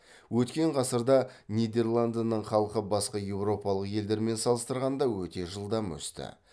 өткен ғасырда нидерландының халқы басқа еуропалық елдермен салыстырғанда өте жылдам өсті